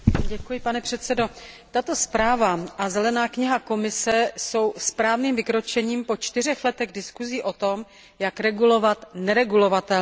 Pane předsedající, tato zpráva a zelená kniha Komise jsou správným vykročením po 4 letech diskusí o tom, jak regulovat neregulovatelné.